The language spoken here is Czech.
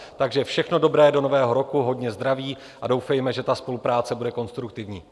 Takže všechno dobré do nového roku, hodně zdraví a doufejme, že ta spolupráce bude konstruktivní.